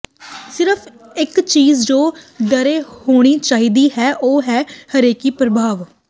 ਸਿਰਫ ਇਕ ਚੀਜ਼ ਜੋ ਡਰੇ ਹੋਣੀ ਚਾਹੀਦੀ ਹੈ ਉਹ ਹੈ ਰੇਖਕੀ ਪ੍ਰਭਾਵ